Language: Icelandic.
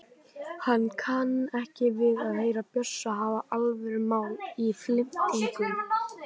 Hann kann ekki við að heyra Bjössa hafa alvörumál í flimtingum.